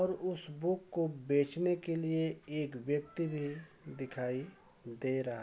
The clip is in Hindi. और उस बुक को बेचने के लिए एक व्यक्ति भी दिखाई दे रहा --